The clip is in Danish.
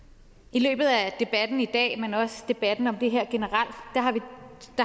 i løbet af debatten i dag men også debatten om det her generelt